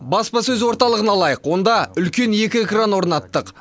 баспасөз орталығын алайық онда үлкен екі экран орнаттық